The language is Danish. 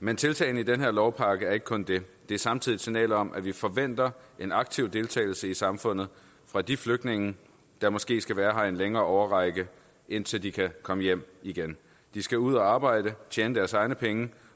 men tiltagene i den her lovpakke er ikke kun det det er samtidig et signal om at vi forventer en aktiv deltagelse i samfundet fra de flygtninge der måske skal være her i en længere årrække indtil de kan komme hjem igen de skal ud at arbejde tjene deres egne penge